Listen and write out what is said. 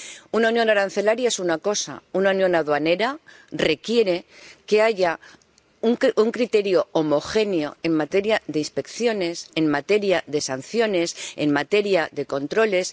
Una unión arancelaria es una cosa, una unión aduanera requiere que haya un criterio homogéneo en materia de inspecciones, en materia de sanciones, en materia de controles